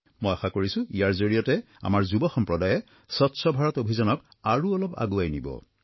মই আশা কৰিছোঁ ইয়াৰ জৰিয়তে আমাৰ যুৱ সম্প্ৰদায়ে স্বচ্ছ ভাৰত অভিযানক আৰু অলপ আগুৱাই নিব